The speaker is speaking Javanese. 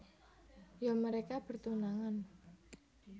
Ya mereka bertunangan